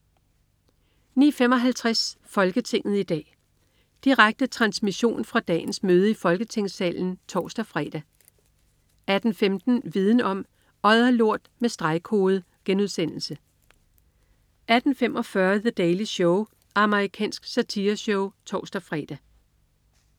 09.55 Folketinget i dag. Direkte transmission fra dagens møde i Folketingssalen (tors-fre) 18.15 Viden om: Odderlort med stregkode* 18.45 The Daily Show. Amerikansk satireshow (tors-fre)